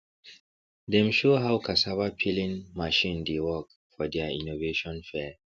dem show how cassava peeling machine dey work for deir innovation fair